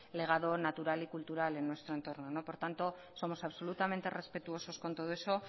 legado natural y cultural en nuestro entorno por tanto somos absolutamente respetuosos con todo eso